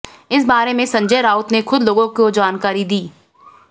इस बारे में संजय राउत ने खुद लोगों को जानकारी दी